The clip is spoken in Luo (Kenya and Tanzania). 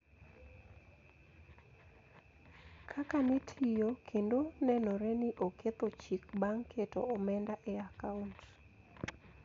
Kaka ne tiyo kendo nenore ni oketho chik bang` keto omenda e I akaont